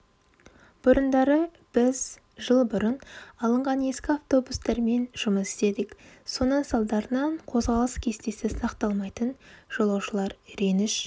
бұрындары біз жыл бұрын алынған ескі автобустармен жұмыс істедік соның салдарынан қозғалыс кестесі сақталмайтын жолаушылар реніш